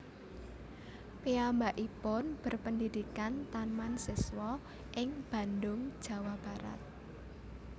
Piyambakipun berpendidikan Taman Siswa ing Bandung Jawa Barat